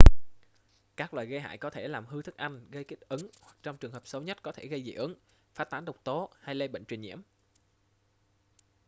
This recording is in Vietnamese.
các loài gây hại có thể làm hư thức ăn gây kích ứng hoặc trong trường hợp xấu nhất có thể gây dị ứng phát tán độc tố hay lây bệnh truyền nhiễm